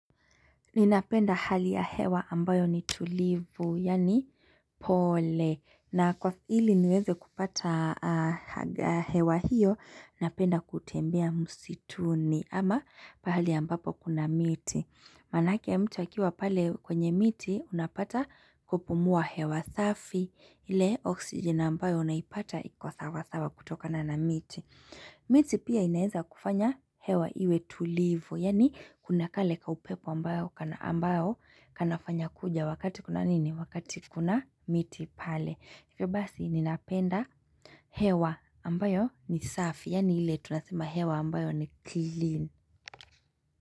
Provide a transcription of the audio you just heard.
Ninapenda hali ya hewa ambayo ni tulivu, yaani pole. Na kwa ili niweze kupata hewa hiyo, napenda kutembea msituni ama pahali ambapo kuna miti. Manake mtu akiwa pale kwenye miti, unapata kupumua hewa safi. Ile oksigen ambayo unaipata iko sawa sawa kutoka na na miti. Miti pia inaweza kufanya hewa iwe tulivu, yaani kuna kale kaupepo ambayo kanafanya kuja wakati kuna nini, wakati kuna miti pale. Hivyo basi ninapenda hewa ambayo ni safi, yaani ile tunasema hewa ambayo ni clean.